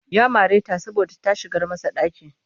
Ya mare ta saboda ta shigar masa ɗaki